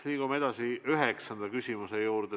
Liigume edasi üheksanda küsimuse juurde.